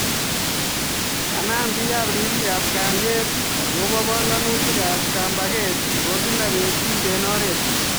Kanam bik ribik ab kalyet akobo banganutik ab kambaket nebo kila betut eng oret.